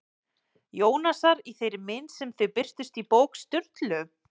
Jónasar í þeirri mynd sem þau birtust í bók Sturlu?